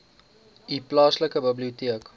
u plaaslike biblioteek